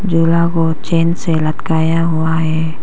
झूला को चैन से लटकाया हुआ है।